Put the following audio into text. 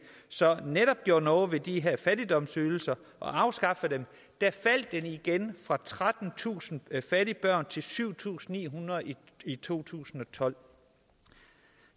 så netop gjorde noget ved de her fattigdomsydelser og afskaffede dem faldt det igen fra trettentusind fattige børn til syv tusind ni hundrede i to tusind og tolv